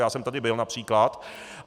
Já jsem tady byl, například.